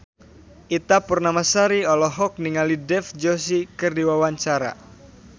Ita Purnamasari olohok ningali Dev Joshi keur diwawancara